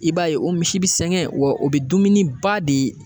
I b'a ye o misi bi sɛgɛn wa o be dumuni ba de